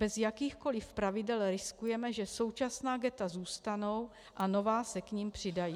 Bez jakýchkoli pravidel riskujeme, že současná ghetta zůstanou a nová se k nim přidají.